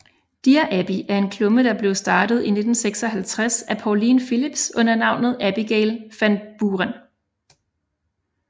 Dear Abby er en klumme der blev startet i 1956 af Pauline Phillips under navnet Abigail Van Buren